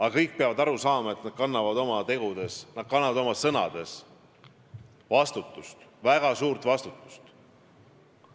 Aga kõik peavad aru saama, et nad kannavad oma tegude ja oma sõnade eest vastutust – väga suurt vastutust.